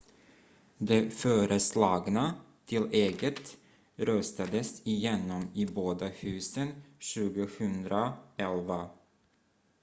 det föreslagna tillägget röstades igenom i båda husen 2011